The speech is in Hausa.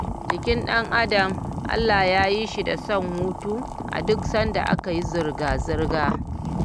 jikin dan adam Allah yayi shi da son hutu a duk sanda aka yi zurga-zurga